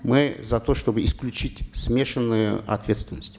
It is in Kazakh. мы за то чтобы исключить смешанную ответственность